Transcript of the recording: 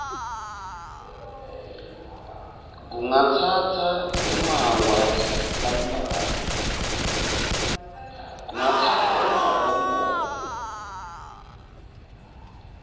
kungatsatsa emaawa lambalwa